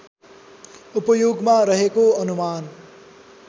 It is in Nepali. उपयोगमा रहेको अनुमान